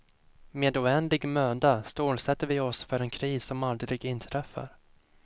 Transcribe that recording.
Med oändlig möda stålsätter vi oss för en kris som aldrig inträffar.